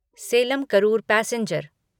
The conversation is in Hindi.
सेलम करूर पैसेंजर